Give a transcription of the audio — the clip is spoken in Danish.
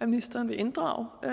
at ministeren vil inddrage